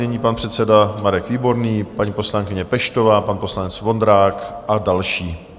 Nyní pan předseda Marek Výborný, paní poslankyně Peštová, pan poslanec Vondrák a další.